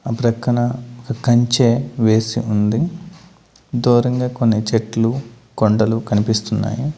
ఆ ప్రక్కన ఆ కంచె వేసి ఉంది దూరంగా కొన్ని చెట్లు కొండలు కనిపిస్తున్నాయి.